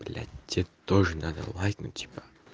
блядь те тоже надо лайкнуть типа